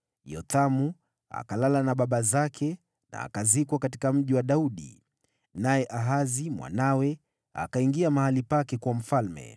Yothamu akalala na baba zake na akazikwa katika Mji wa Daudi. Naye Ahazi mwanawe akawa mfalme baada yake.